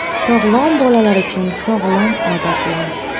Sog‘lom bolalar uchun sog‘lom odatlar.